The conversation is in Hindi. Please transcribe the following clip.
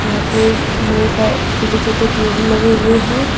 यहां पे ढेर सारे छोटे छोटे पेड़ लगे हुए हैं।